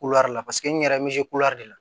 la paseke n yɛrɛ be se kulɛri la